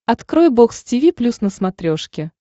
открой бокс тиви плюс на смотрешке